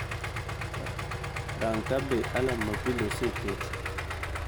Rang' ka be alarm ma pile oseket